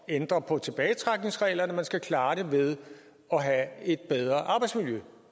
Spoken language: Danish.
at ændre på tilbagetrækningsreglerne men at man skal klare det ved at have et bedre arbejdsmiljø